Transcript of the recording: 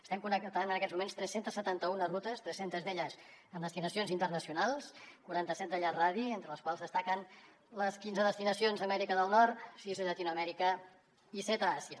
estem connectant en aquests moments tres cents i setanta un rutes tres centes d’elles amb destinacions internacionals quaranta set de llarg radi entre les quals destaquen les quinze destinacions a amèrica del nord sis a llatinoamèrica i set a àsia